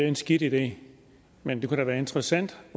en skidt idé men det kunne da være interessant